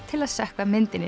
til að sökkva myndinni